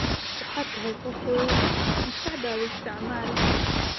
Waxaad tahay qof weyn, maskaxdaada isticmaal